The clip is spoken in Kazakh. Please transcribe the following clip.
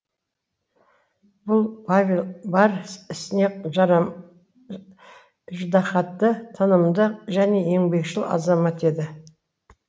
бұл павел бар ісіне іждағатты тынымды және еңбекшіл азамат еді